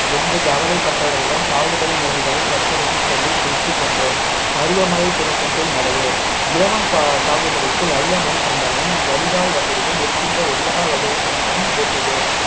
என்று கவலைப்பட்டவரிடம் சாகுபடி முறைகளை பட்டியலிட்டு சொல்லி குறித்துக் கொண்டோம் பருவ மழை தொடக்கத்தில் நடவு இலவம் சாகுபடிக்கு நல்ல மண் கண்டமும் வடிகால் வசதியும் இருக்கின்ற எல்லா வகை மண்ணும் ஏற்றது